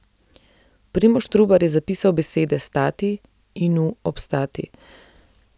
Primož Trubar je zapisal besede stati inu obstati.